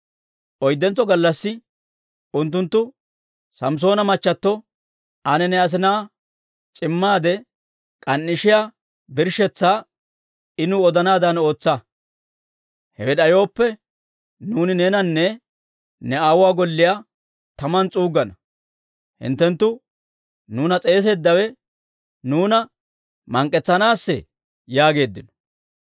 Oyddentso gallassi unttunttu Samssoona machchatto, «Ane ne asinaa c'immaade k'an"ishiyaa birshshetsaa I nuw odanaadan ootsa. Hewe d'ayooppe, nuuni neenanne ne aawuwaa golliyaa taman S'uuggana. Hinttenttu nuuna s'eeseeddawe nuuna mank'k'etsanaassee?» yaageeddino.